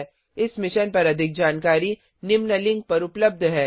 001311 001308 इस मिशन पर अधिक जानकारी निम्न लिंक पर उपलब्ध है